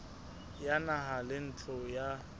ya naha le ntlo ya